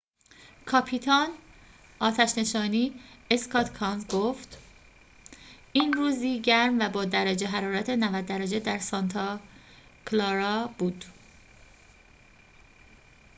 کاپیتان آتش نشانی اسکات کانز گفت این روزی گرم و با درجه حرارت ۹۰ درجه در سانتا کلارا بود